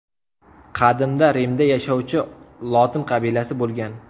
Qadimda Rimda yashovchi lotin qabilasi bo‘lgan.